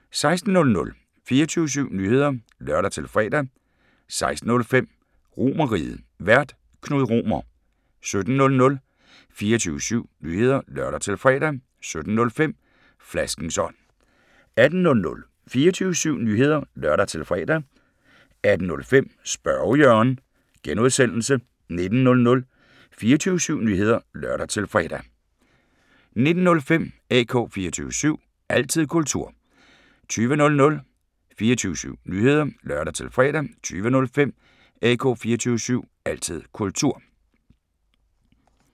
16:00: 24syv Nyheder (lør-fre) 16:05: RomerRiget, Vært: Knud Romer 17:00: 24syv Nyheder (lør-fre) 17:05: Flaskens ånd 18:00: 24syv Nyheder (lør-fre) 18:05: Spørge Jørgen (G) 19:00: 24syv Nyheder (lør-fre) 19:05: AK 24syv – altid kultur 20:00: 24syv Nyheder (lør-fre) 20:05: AK 24syv – altid kultur